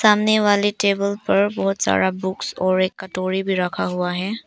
सामने वाले टेबल पर बहुत सारा बुक्स और एक कटोरी भी रखा हुआ है।